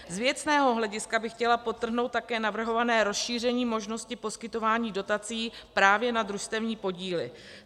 Z věcného hlediska bych chtěla podtrhnout také navrhované rozšíření možnosti poskytování dotací právě na družstevní podíly.